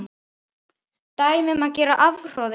Dæmi um gera afhroð er